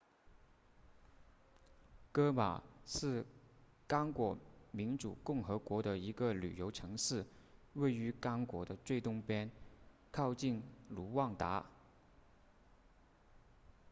戈马是刚果民主共和国的一个旅游城市位于刚果的最东边靠近卢旺达